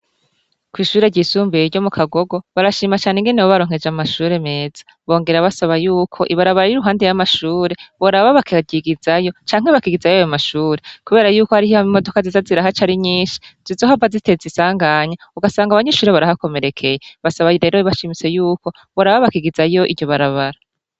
Kw'ishure ryisumbuye ryo mu Kagogo, barashima cane ingene babaronkeje amashure meza. Bongera basaba yuko ibarabara riri iruhande y'amashure boraba bakaryigizayo canke bakigizayo ayo mashure kubera yuko hari imodoka ziza zirahaca ari nyinshi zizohava ziteza isanganya ugasanga abanyeshure barahakomerekeye. Basaba rero bashimitse yuko boraba bakigizayo iryo barabara.